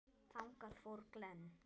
Þangað fór Glenn.